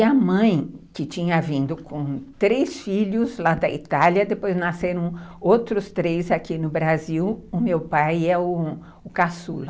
E a mãe, que tinha vindo com três filhos lá da Itália, depois nasceram outros três aqui no Brasil, o meu pai é o o caçula.